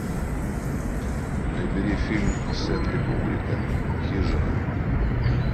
набери фильм стэнли кубрика хижина